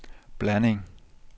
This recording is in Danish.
blanding